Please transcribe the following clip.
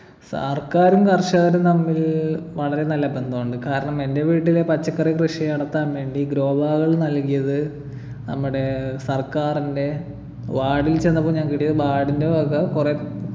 സർക്കാരും കർഷകരും തമ്മിൽ വളരെ നല്ല ബന്ധമുണ്ട് കാരണം എൻ്റെ വീട്ടിലെ പച്ചക്കറികൃഷി നടത്താൻ വേണ്ടി grow bag കൾ നൽകിയത് നമ്മുടെ സർക്കാരിൻ്റെ ward ൽ ചെന്നപ്പൊ ഞങ്ങക്ക് കിട്ടിയത് ward ൻ്റെ വക കുറേ